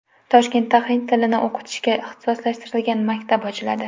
Toshkentda hind tilini o‘qitishga ixtisoslashtirilgan maktab ochiladi.